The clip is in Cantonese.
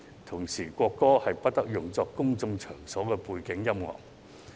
同時，國歌不得用作公眾場所的背景音樂。